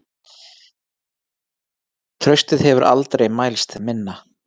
Traustið hefur aldrei mælst minna